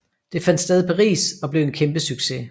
Det fandt sted i Paris og blev en kæmpe succes